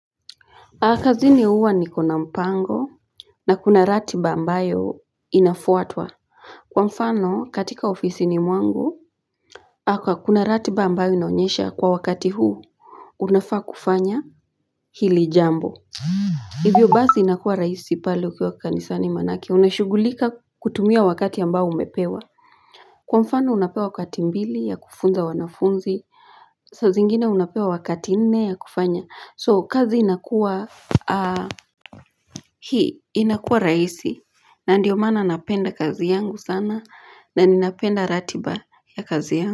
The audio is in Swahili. Kazini huwa nikona mpango na kuna ratiba ambayo inafuatwa. Kwa mfano katika ofisi ni mwangu, akwa kuna ratiba ambayo inaonyesha kwa wakati huu, unafaa kufanya hili jambo. Hivyo basi inakuwa rahisi pale ukiwa kanisani maanake, unashugulika kutumia wakati ambao umepewa. Kwa mfano unapewa wakati mbili, ya kufunza wanafunzi, sa zingine unapewa wakati nne ya kufanya. So kazi inakuwa Hii inakuwa rahisi na ndiyo maana napenda kazi yangu sana na ninapenda ratiba ya kazi yangu.